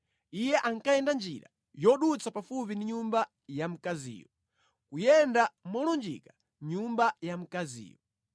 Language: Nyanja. Iye ankayenda njira yodutsa pafupi ndi nyumba ya mkaziyo, kuyenda molunjika nyumba ya mkaziyo.